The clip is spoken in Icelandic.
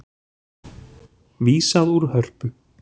Vísað úr Hörpu